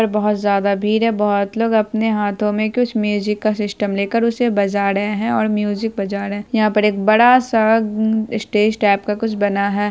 पर बहुत ज्यादा भीड़ है बहुत लोग अपने हाथों में कुछ म्यूजिक का सिस्टम ले कर उसे बजा रहे है और म्यूजिक बजा रहे है यहां पर एक बड़ा सा स्टेज टाइप का कुछ बना है।